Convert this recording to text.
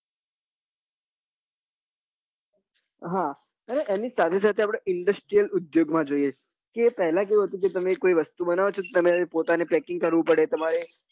હા એની સાથે સાથે આપડે industrial ઉદ્યોગ માં જોઈએ કે પેલા કેવું હતુબ કે તમે કોઈ વસ્તુ બનાવો છો તો પોતાને packing કરવું પડે તમારે